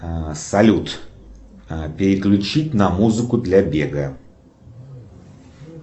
салют переключить на музыку для бега